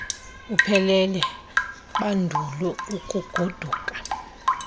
uphele bandulu ukugoduka